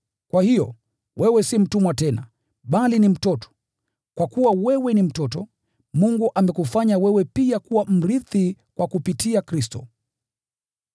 Kwa hiyo, wewe si mtumwa tena, bali ni mtoto, kwa kuwa wewe ni mtoto, Mungu amekufanya wewe pia kuwa mrithi kwa kupitia Kristo.